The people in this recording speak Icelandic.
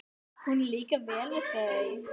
Honum líkar vel við þau.